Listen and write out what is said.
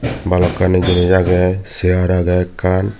balukkani jenis aagey chear aagey ekan.